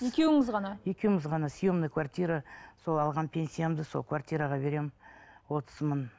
екеуіңіз ғана екеуіміз ғана съемный квартира сол алған пенсиямды сол квартираға беремін отыз мың